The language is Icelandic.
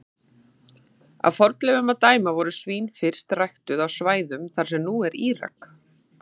Af fornleifum að dæma voru svín fyrst ræktuð á svæðum þar sem nú er Írak.